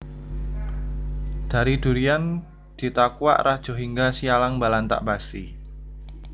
Dari Durian Ditakuak Rajohingga Sialang Balantak Basi